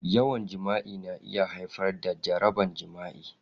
Yawan jima'i na iya haifar da jaraban jima'i.